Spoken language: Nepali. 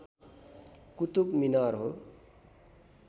कुतुब मिनार हो